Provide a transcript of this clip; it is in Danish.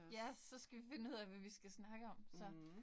Ja, så skal vi finde ud af, hvad vi skal snakke om, så